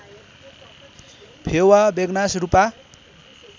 Phewa Begnas Rupa